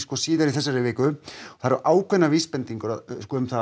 síðar í þessari viku og það eru ákveðnar vísbendingar um að